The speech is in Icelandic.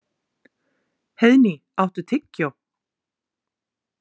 Heiðný, áttu tyggjó?